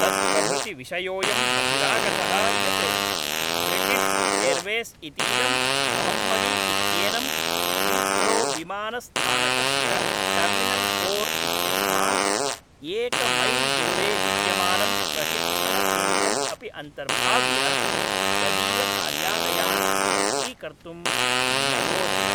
तत्प्रभृति विषयोयं बहिरागतः यत् ब्रिटिश् एर्वेस् इतीदं मोहम्मदी इत्येनं हीथ्रोविमानस्थानकस्य टर्मिनल् फोर् इत्यस्मात् एकमैल्दूरे विद्यमानं प्रशिक्षणकेन्द्रम् अपि अन्तर्भाव्य तदीयकार्यालयान् स्वच्छीकर्तुं न्ययोजयत्।